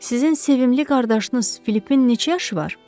Sizin sevimli qardaşınız Philipin neçə yaşı var?